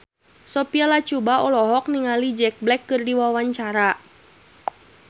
Sophia Latjuba olohok ningali Jack Black keur diwawancara